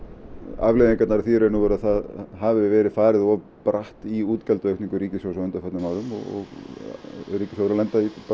afleiðingarnar af því í raun og veru að það hafi verið farið of bratt í útgjaldaaukningu ríkissjóðs á undanförnum árum og ríkissjóður að lenda í